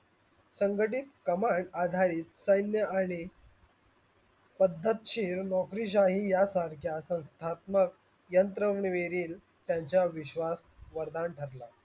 संघटित कंमक आधारित सैन्या आणि पद्धतशिर नोकरीसाई या सारख्या संस्थातमक यंत्रवेरील त्यांचा वर विश्वास वरदान ठरला.